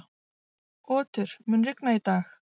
Otur, mun rigna í dag?